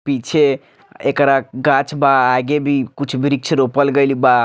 पीछे एकरा गाछ बा आगे भी कुछ वृक्ष रोपल गईल बा।